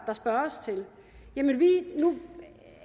der spørges til nu